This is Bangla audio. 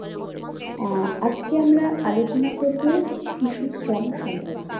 আহ আজকে আমরা আলোচনা করবো শিশু শ্রম সম্পর্কে।